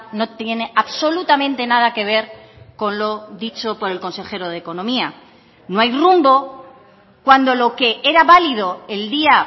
no tiene absolutamente nada que ver con lo dicho por el consejero de economía no hay rumbo cuando lo que era válido el día